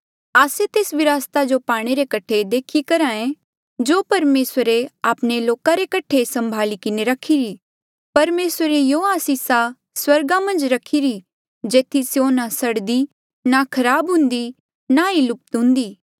आस्से तेस विरासता जो पाणे रे कठे देखी करहे जो परमेसर आपणे लोका रे सम्भाली किन्हें रखिरी परमेसरे युयां आसिसा स्वर्गा मन्झ रखीरी जेथी स्यों ना सड़दी ना खराब हुन्दी होर ना ही लुप्त हुन्दी